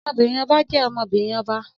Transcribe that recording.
Ọmọbìnrin ọba jẹ́ ọmọ-binrin ọba